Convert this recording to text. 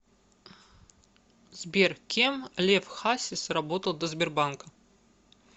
сбер кем лев хасис работал до сбербанка